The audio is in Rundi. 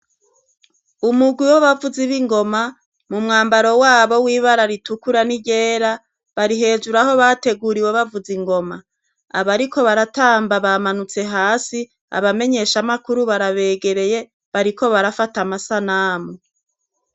Umugwi wa bavuzi b'ingoma mu mwambaro wabo w'ibara ritukura ni ryera barihejur' aho bateguriwe bavuz' ingoma, babiri muribo bariko baratamba bamanutse has' abamenyeshamakuru barabegereye bariko barafat' amasanamu haboneka k' imbere yabo har' abantu barikubaraba.